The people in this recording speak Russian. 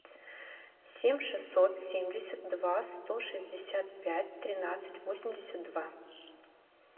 семь шестьсот семьдесят два сто шестьдесят пять тринадцать восемьдесят два